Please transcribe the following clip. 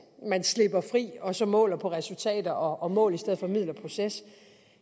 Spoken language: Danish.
man slipper fri og så måler man på resultater og mål i stedet for på middel og proces